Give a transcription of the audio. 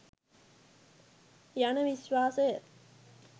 යන විශ්වාසය